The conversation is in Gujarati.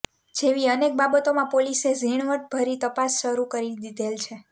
જેવી અનેક બાબતોમાં પોલીસે ઝીણવટ ભરી તપાસ શરૂ કરી દીધેલ છે